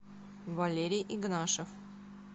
валерий игнашев